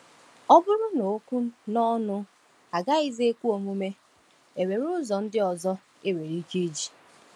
Ọ bụrụ na okwu na ọnụ agaghịzi ekwe omume, e nwere ụzọ ndị ọzọ e nwere ike iji.